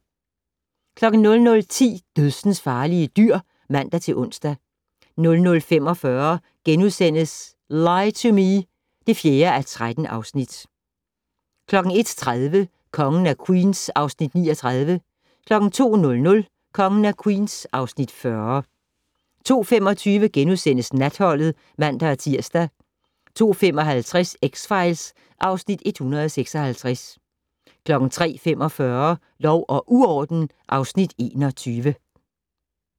00:10: Dødsensfarlige dyr (man-ons) 00:45: Lie to Me (4:13)* 01:30: Kongen af Queens (Afs. 39) 02:00: Kongen af Queens (Afs. 40) 02:25: Natholdet *(man-tir) 02:55: X-Files (Afs. 156) 03:45: Lov og uorden (Afs. 21)